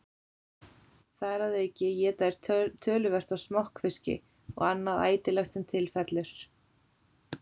Þar að auki éta þeir töluvert af smokkfiski og annað ætilegt sem til fellur.